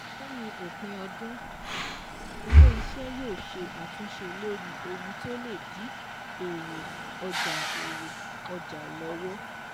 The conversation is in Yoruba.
Lẹ́yìn òpin ọdún, ilé iṣẹ́ yóò ṣe àtúnṣe lórí ohun tó lè dí èrè ọjà èrè ọjà lọ́wọ́.